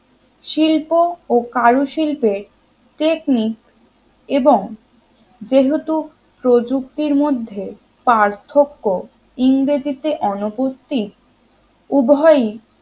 শিল্প ও কারুশিল্পে technique এবং যেহেতু প্রযুক্তির মধ্যে পার্থক্য ইংরেজিতে অনুপস্থিত উভয়ই